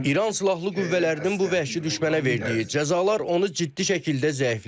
İran silahlı qüvvələrinin bu vəhşi düşmənə verdiyi cəzalar onu ciddi şəkildə zəiflədib.